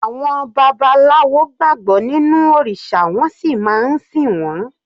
Àwọn babaláwo gbàgbọ́ nínú òrìṣà wọ́n sì máa ń sìn wọ́n.